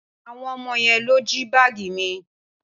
Awon omo yen lo ji baagi mi.